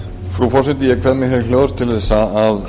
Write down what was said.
frú forseti ég kveð mér hljóðs til að